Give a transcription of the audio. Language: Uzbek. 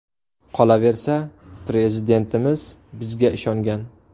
Qolaversa, Prezidentimiz bizga ishongan.